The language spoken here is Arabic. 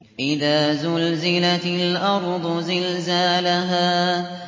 إِذَا زُلْزِلَتِ الْأَرْضُ زِلْزَالَهَا